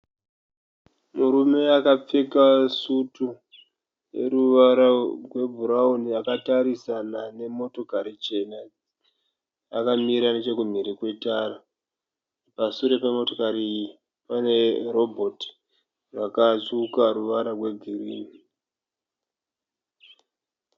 Murume akapfeka sutu yeruwara rwe bhurauni akatarisana nemotokari chena. Akamira nechokumhiri kwetara. Pa suré pemotokari iyi pane robot rakatsvuka ruwara rwe girini.